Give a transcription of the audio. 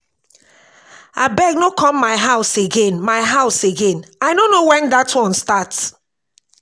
abeg no come my house again my house again i no know wen dat one start